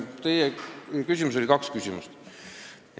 Teie küsimuses oli kaks küsimust.